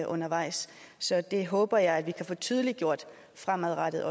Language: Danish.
undervejs så det håber jeg at vi også kan få tydeliggjort fremadrettet